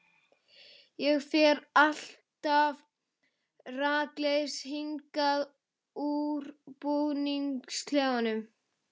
Ég fer alltaf rakleiðis hingað úr búningsklefanum.